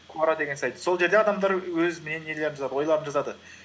куора деген сайт сол жерде адамдар өз ойларын жазады